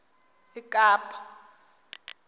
ekapa